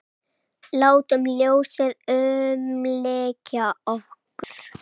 Látum ljósið umlykja okkur.